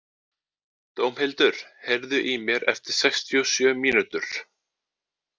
Dómhildur, heyrðu í mér eftir sextíu og sjö mínútur.